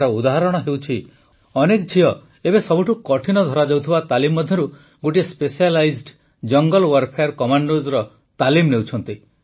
ଏହାର ଉଦାହରଣ ହେଉଛି ଅନେକ ଝିଅ ଏବେ ସବୁଠୁ କଠିନ ଧରାଯାଉଥିବା ତାଲିମ ମଧ୍ୟରୁ ଗୋଟିଏ ସ୍ପେଶାଲାଇଜ୍ଡ ଜଙ୍ଗଲ୍ ୱାର୍ଫେୟାର୍ କମାଣ୍ଡୋସର ତାଲିମ ନେଉଛନ୍ତି